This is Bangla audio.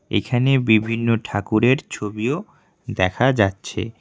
এখানে বিভিন্ন ঠাকুরের ছবিও দেখা যাচ্ছে।